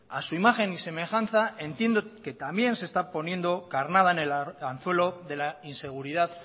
a su imagen y semejanza entiendo que también se está poniendo carnada en el anzuelo de la inseguridad